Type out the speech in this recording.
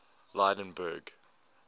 lydenburg